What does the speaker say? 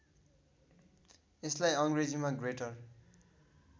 यसलाई अङ्ग्रेजीमा ग्रेटर